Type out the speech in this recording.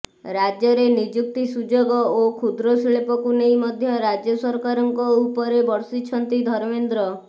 ରାଜ୍ୟରେ ନିଯୁକ୍ତି ସୁଯୋଗ ଓ କ୍ଷୁଦ୍ରଶିଳ୍ପକୁ ନେଇ ମଧ୍ୟ ରାଜ୍ୟ ସରକାରଙ୍କ ଉପରେ ବର୍ଷିଛନ୍ତି ଧର୍ମେନ୍ଦ୍ର